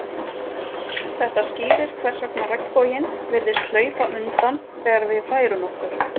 Þetta skýrir hvers vegna regnboginn virðist hlaupa undan þegar við færum okkur.